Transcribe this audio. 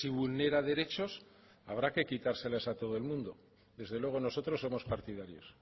vulnera derechos habrá que quitárselas a todo el mundo desde luego nosotros somos partidarios